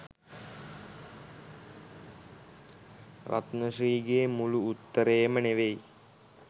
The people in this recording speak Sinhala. රත්න ශ්‍රී ගේ මුළු උත්තරේම නෙවෙයි